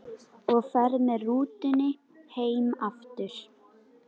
Og ferð með rútu heim aftur?